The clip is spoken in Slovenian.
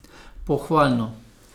Pohvalno!